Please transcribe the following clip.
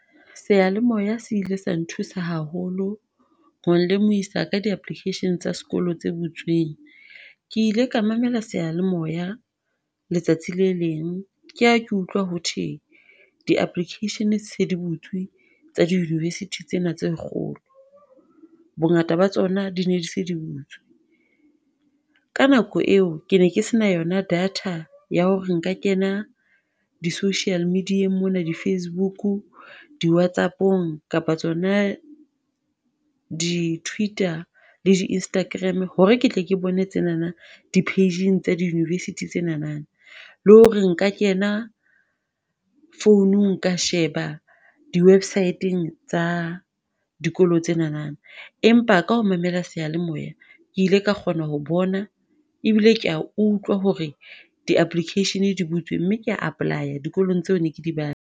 Seyalemoya se ile sa nthusa haholo, ho nlemohisa ka di-application tsa sekolo tse butsweng. Ke ile ka mamela seyalemoya letsatsi le leng, ke ha ke utlwa ho thwe di-applications se di butswe tsa di-university tsena tse kgolo. Bongata ba tsona di ne di se butwse, ka nako eo, ke ne ke se na yona data ya hore nka kena di-social media mona di-Facebook, di-Whatsapp-ong, kapa tsona di-Twitter, le di-Instagram, hore ke tle ke bone tsenana, di-Page-eng tsa di-university tsenana, le hore nka kena founung ka sheba di-Website-teng tsa dikolo tsenana. Empa ka ho mamela seyalemoya, ke ile ka kgona ho bona, ebile ka utlwa hore di-application di butswe mme kea apply-a dikolong tseo ne ke di .